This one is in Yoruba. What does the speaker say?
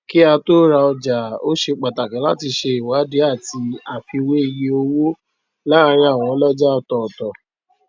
kí á tó ra ọjà ó se pàtàkì láti se iwadi àti àfiwé iye owó láàrin àwọn ọlọjà ọtọtọ